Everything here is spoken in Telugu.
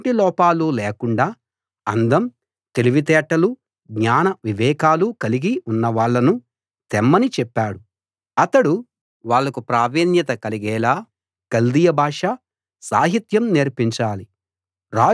ఎలాంటి లోపాలు లేకుండా అందం తెలివితేటలు జ్ఞాన వివేకాలు కలిగి ఉన్నవాళ్ళను తెమ్మని చెప్పాడు అతడు వాళ్ళకు ప్రావీణ్యత కలిగేలా కల్దీయ భాష సాహిత్యం నేర్పించాలి